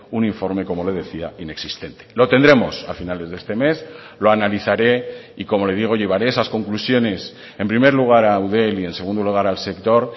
un informe como le decía inexistente lo tendremos a finales de este mes lo analizaré y como le digo llevaré esas conclusiones en primer lugar a eudel y en segundo lugar al sector